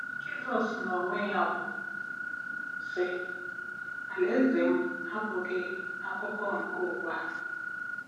Jizọs n'onwe ya kwuru, sị: “ Alaeze m abụghị akụkụ nke ụwa a.